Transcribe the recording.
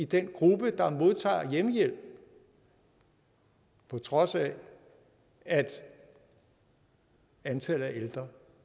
den gruppe der modtager hjemmehjælp på trods af at antallet af ældre